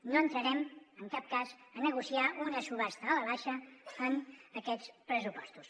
no entrarem en cap cas a negociar una subhasta a la baixa en aquests pressupostos